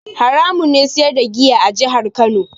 Haramun ne siyar da giya a jihar Kano.